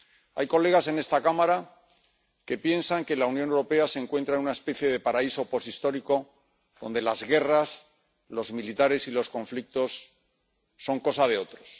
Hay colegas en esta Cámara que piensan que la Unión Europea se encuentra en una especie de paraíso posthistórico, donde las guerras, los militares y los conflictos son cosa de otros.